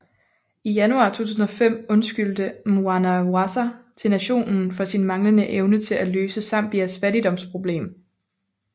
I januar 2005 undskyldte Mwanawasa til nationen for sin manglende evne til at løse Zambias fattigdomsproblem